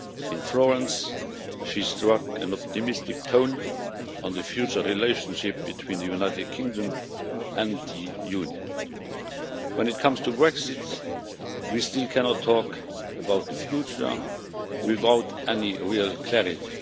In Florence, she struck an optimistic tone on the future relationship between the United Kingdom and the Union. When it comes to Brexit, we still cannot talk about the future without real clarity.